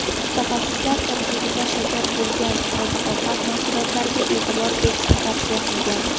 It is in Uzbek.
mutaxassislar tarkibida shakar bo‘lgan oziq-ovqat mahsulotlariga e’tibor berishni tavsiya qilgan.